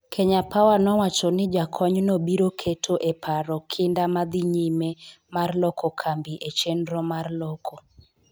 Kenya Power nowacho ni jakonyno biro keto e paro kinda ma dhi nyime mar loko kambi e chenro mar loko.